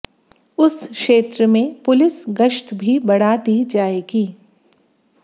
उस क्षेत्र में पुलिस गश्त भी बढ़ा दी जाएगी